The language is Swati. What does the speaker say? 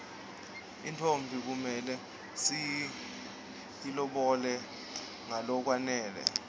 intfombi kumele siyilobole ngalokwanele